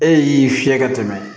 E y'i fiyɛ ka tɛmɛ